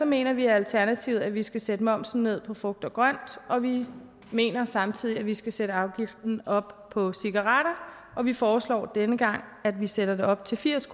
mener vi i alternativet at vi skal sætte momsen ned på frugt og grønt og vi mener samtidig at vi skal sætte afgiften op på cigaretter og vi foreslår denne gang at vi sætter det op til firs